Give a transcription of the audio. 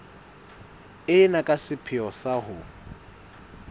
ena ka sepheo sa ho